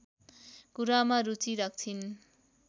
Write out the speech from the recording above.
कुरामा रुचि राख्छिन्